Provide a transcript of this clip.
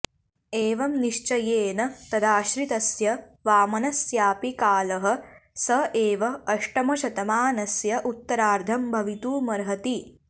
एवम् निश्चयेन तदाश्रितस्य वामनस्यापि कालः स एव अष्टमशतमानस्य उत्तरार्धम् भवितुमर्हति